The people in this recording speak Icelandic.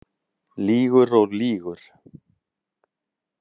Lýgur og lýgur.